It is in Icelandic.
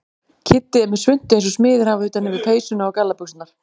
Kiddi er með svuntu eins og smiðir hafa utan yfir peysuna og gallabuxurnar.